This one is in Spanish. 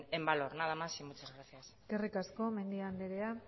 en valor nada más y muchas gracias eskerrik asko mendia andrea